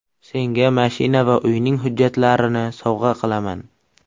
Senga mashina va uyning hujjatlarini sovg‘a qilaman.